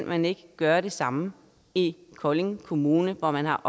man ikke kan gøre det samme i kolding kommune hvor man har